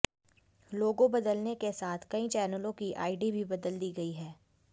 लोगो बदलने के साथ कई चैनलों की आईडी भी बदल दी गई है